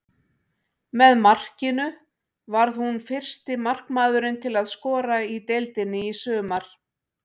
Með markinu varð hún fyrsti markmaðurinn til að skora í deildinni í sumar.